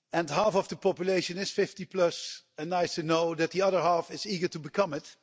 Half of the population is 50, and it's nice to know that the other half is eager to become it.